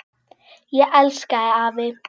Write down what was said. Ég elska þig afi.